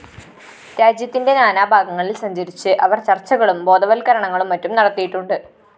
രാജ്യത്തിന്റെ നാനാഭാഗങ്ങളില്‍ സഞ്ചരിച്ച് അവര്‍ ചര്‍ച്ചകളും ബോധവല്‍ക്കരണങ്ങളും മറ്റും നടത്തിയിട്ടുണ്ട്